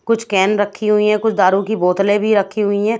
कुछ कैन रखी हुई है कुछ दारू के बॉटले भी रखे हुए है।